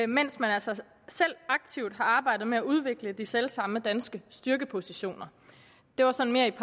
mens man altså selv aktivt har arbejdet med at udvikle de selv samme danske styrkepositioner det var sådan mere i